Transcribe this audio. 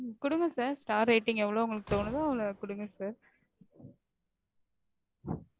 கொடுங்க sir star rating எவ்வளவு உங்களுக்கு தோணுதோ அவ்வளவு கொடுங்க sir